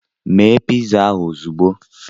Mee ịza ahụ ozugbo!